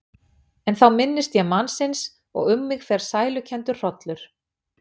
En þá minnist ég mannsins og um mig fer sælukenndur hrollur.